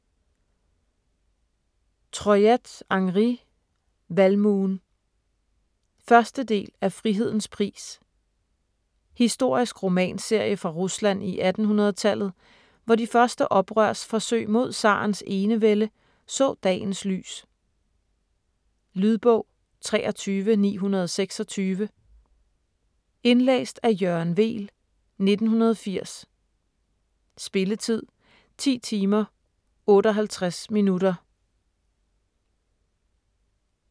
Troyat, Henri: Valmuen 1. del af Frihedens pris. Historisk romanserie fra Rusland i 1800-tallet, hvor de første oprørsforsøg mod zarens enevælde så dagens lys. Lydbog 23926 Indlæst af Jørgen Weel, 1980. Spilletid: 10 timer, 58 minutter.